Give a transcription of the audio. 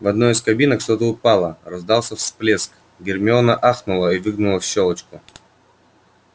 в одной из кабинок что-то упало раздался всплеск гермиона ахнула и выглянула в щёлочку